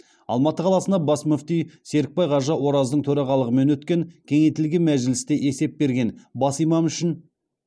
алматы қаласына бас мүфти серікбай қажы ораздың төрағалығымен өткен кеңейтілген мәжілісте есеп берген